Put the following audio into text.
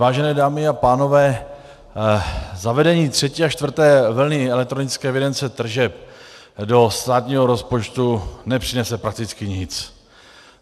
Vážené dámy a pánové, zavedení třetí a čtvrté vlny elektronické evidence tržeb do státního rozpočtu nepřinese prakticky nic.